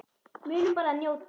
Munum bara að njóta.